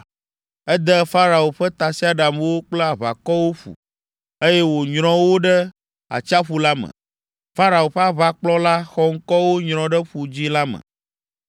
Ede Farao ƒe tasiaɖamwo kple aʋakɔwo ƒu, eye wònyrɔ wo ɖe atsiaƒu la me. Farao ƒe aʋakplɔla xɔŋkɔwo nyrɔ ɖe Ƒu Dzĩ la me.